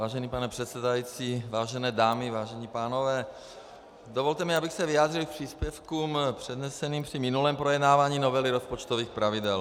Vážený pane předsedající, vážené dámy, vážení pánové, dovolte mi, abych se vyjádřil k příspěvkům předneseným při minulém projednávání novely rozpočtových pravidel.